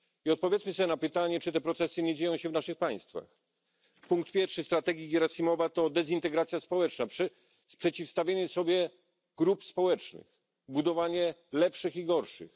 Odpowiedzmy sobie na pytanie, czy te procesy nie dzieją się w naszych państwach. Punkt pierwszy strategii Gierasimowa to dezintegracja społeczna, przeciwstawienie sobie grup społecznych, budowanie lepszych i gorszych.